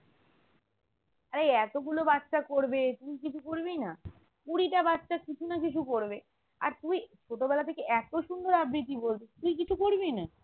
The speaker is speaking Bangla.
আরে এই এতগুলো বাচ্চা করবে তুই কিছু করবিনা? কুড়িটা বাচ্চা কিছু না কিছু করবে আর তুই ছোটবেলা থেকে এতো সুন্দর আবৃতি বলতিস তুই কিছু করবিনা?